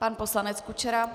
Pan poslanec Kučera.